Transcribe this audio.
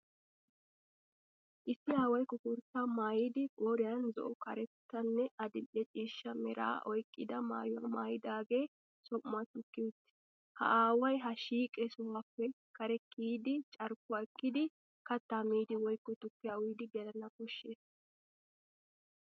Issi aaway koforttaa maayidi qooriyan zo'o karettanne adil'e ciishsha meraa oyqqida maayuwa maayidagee som'uwaa tukkiya uttis. Ha aaway ha shiiqi sohuwappe kare kiyidi carkkuwa ekkidi, kattaa miidi woykko tukkiya uyiiddi gelana koshshes.